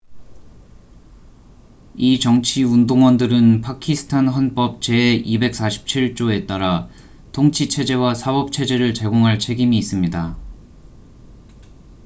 이 정치 운동원들은 파키스탄 헌법 제247조에 따라 통치 체제와 사법 체제를 제공할 책임이 있습니다